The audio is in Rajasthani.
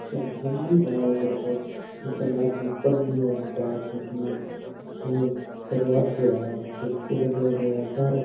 मंदिर है ठा कोनी के है सामान बल्ली है ध्यान कोनी हम्म दरवाजे है खिड़की लागेड़ी है सारे --